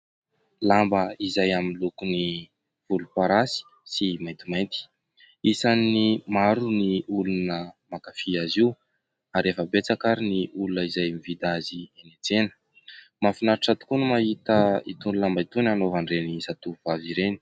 Lamba izay amin'ny lokony volom-parasy sy maintimainty. Isan'ny maro ny olona mankafy azy io; ary efa betsaka ary ny olona izay mividy azy eny an-tsena. Mahafinaritra tokoa no mahita itony lamba itony hanaovan'ireny zatovovavy ireny.